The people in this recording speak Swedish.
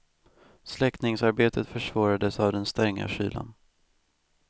Släckningsarbetet försvårades av den stränga kylan.